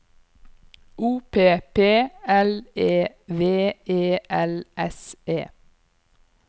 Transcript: O P P L E V E L S E